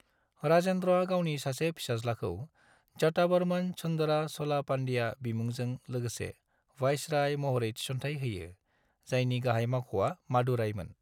राजेन्द्रआ गावनि सासे फिसाज्लाखौ जटावर्मन सुंदर च'ल-पांड्या बिमुंजों लोगोसे वाइसराय महरै थिसनथाइ होयो, जायनि गाहाइ मावख’आ मादुरायमोन।